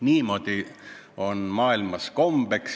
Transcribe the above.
Niimoodi on maailmas kombeks.